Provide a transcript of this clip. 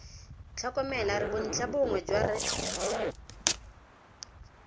tlhokomela re bontlhabongwe jwa re